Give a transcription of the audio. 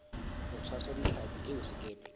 ho tshwasa ditlhapi eo sekepe